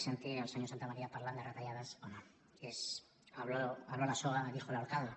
sentir el senyor santamaría parlant de retallades home és habló la soga dijo el ahorcado